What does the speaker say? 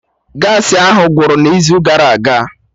Gaasị ahụ gwụrụ n'izu gara aga